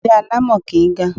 Ilé alámọ̀ kìí ga.